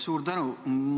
Suur tänu!